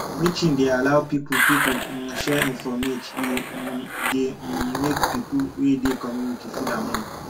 meeting dey allow pipo pipo um share informate e um dey um make pipo wey dey community feel among